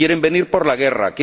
Quieren venir por la guerra